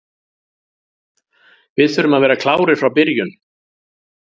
Við þurfum að vera klárir frá byrjun.